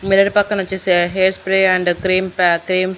mirror పక్కనొచ్చేసి hair spray and cream pack cream --